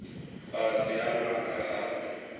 fhasi ha maga a u